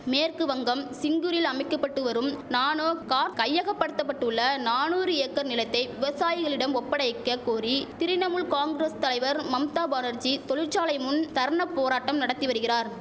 மேற்கு வங்கம் சிங்கூரில் அமைக்கபட்டு வரும் நானோ கார் கையகபடுத்தபட்டுள்ள நானூறு ஏக்கர் நிலத்தை விவசாயிகளிடம் ஒப்படைக்க கோரி திரிணமுல் காங்குரஸ் தலைவர் மம்தா பானர்ஜீ தொழிற்சாலை முன் தர்ண போராட்டம் நடத்தி வருகிறார்